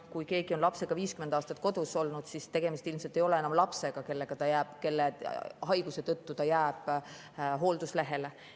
Kui keegi on lapsega 50 aastat kodus olnud, siis ilmselt ei ole enam tegemist lapsega, kelle haiguse tõttu ta jääb hoolduslehele.